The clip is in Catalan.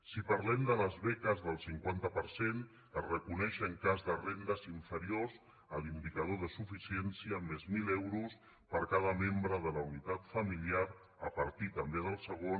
si parlem de les beques del cinquanta per cent es reconeix en cas de rendes inferiors a l’indicador de suficiència més mil euros per cada membre de la unitat familiar a partir també del segon